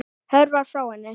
Hörfar frá henni.